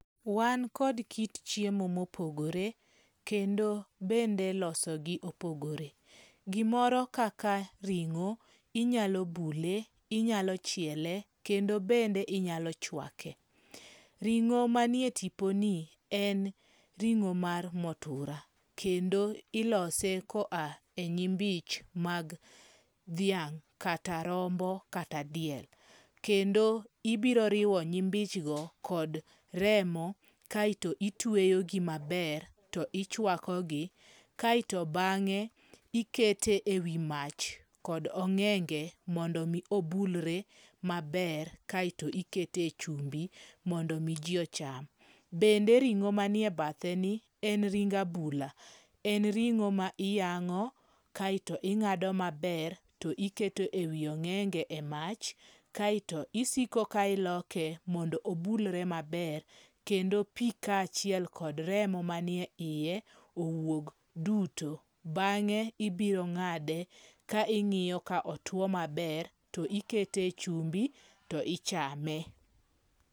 Wan kod kit chiemo mopogore kendo kaka ilosogi bende opogore. Gimoro kaka ring'o, inyalo bule, inyalo chiele kendo bende inyalo chwake. Ring'o manie tiponi en ring'o mar mutura kendo ilose koa enyimbich mag dhiang', kata rombo kata diel. Kendo ibiro riwo nyimbichgo kod remo kae to itueyogi maber to ichuako gi. Kaeto bang'e ikete ewi mach kod ong'enge mondo mi obulre maber kasto ikete chumbi mondo mi ji ocham. Bende ring'o manie batheni en tring abula. En ringo ma iyang'o kaeto ing'ado maber to iketo ewi ong'enge emach kaeto isiko ka iloke mondo onbulre maber kendo pi kaachiel kod remo manie iye owuog duto. Bang'e ibiro ng'ade ka ingiyo ka otuo maber to ikete chumbi to ichame.